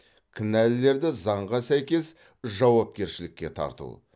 кінәлілерді заңға сәйкес жауапкершілікке тарту